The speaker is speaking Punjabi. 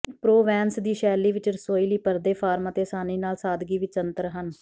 ਪ੍ਰੋਵੈਨਸ ਦੀ ਸ਼ੈਲੀ ਵਿੱਚ ਰਸੋਈ ਲਈ ਪਰਦੇ ਫਾਰਮ ਅਤੇ ਆਸਾਨੀ ਨਾਲ ਸਾਦਗੀ ਵਿੱਚ ਅੰਤਰ ਹਨ